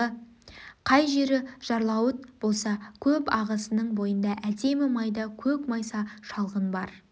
кей жері жарлауыт болса көп ағысының бойында әдемі майда көк майса шалғын бар